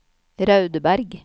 Raudeberg